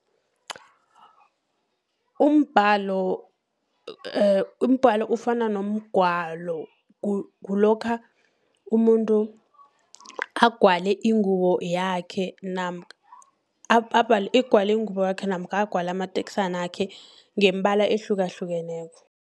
Umbalo ufana nomgwalo kulokha umuntu agwale ingubo yakhe, namkha agwale amateksanakhe ngeembala ehlukahlukeneko.